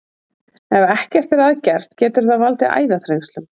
Ef ekkert er að gert getur það valdið æðaþrengslum.